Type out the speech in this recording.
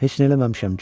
Heç nə eləməmişəm, Corc.